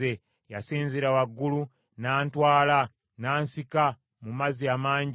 “Yasinzira waggulu n’antwala n’ansika mu mazzi amangi.